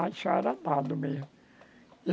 Aí já era dado mesmo.